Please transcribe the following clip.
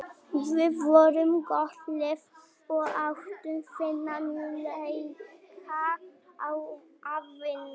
Þeir uppgötvuðu margt og þróuðu stærðfræði og læknisfræði sem skilaði sér síðar til Evrópu.